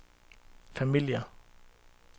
familier